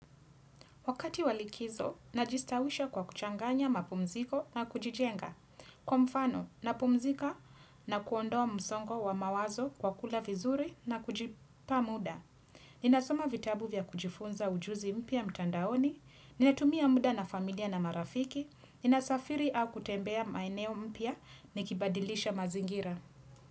Wakati wa likizo, najistawisha kwa kuchanganya mapumziko na kujijenga. Kwa mfano, napumzika na kuondoa msongo wa mawazo kwa kula vizuri na kujipa muda. Ninasoma vitabu vya kujifunza ujuzi mpya mtandaoni, ninatumia muda na familia na marafiki, ninasafiri au kutembea maeneo mpya nikibadilisha mazingira.